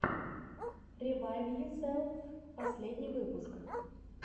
ревайвйоселф последний выпуск